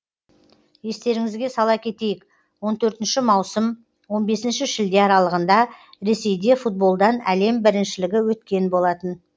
естеріңізге сала кетейік он төртінші маусым он бесінші шілде аралығында ресейде футболдан әлем біріншілігі өткен болатын